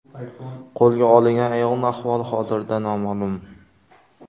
Qo‘lga olingan ayolning ahvoli hozirda noma’lum.